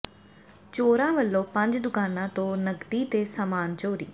ਚੋਰਾਂ ਵੱਲੋਂ ਪੰਜ ਦੁਕਾਨਾਂ ਤੋਂ ਨਕਦੀ ਤੇ ਸਾਮਾਨ ਚੋਰੀ